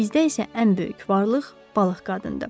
Bizdə isə ən böyük varlıq balıq qadındır.